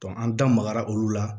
an da magara olu la